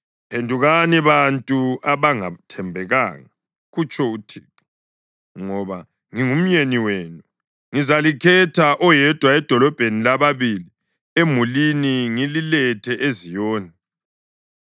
“Phendukani, bantu abangathembekanga,” kutsho uThixo, “ngoba ngingumyeni wenu. Ngizalikhetha, oyedwa edolobheni lababili emulini ngililethe eZiyoni.